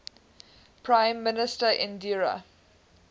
prime minister indira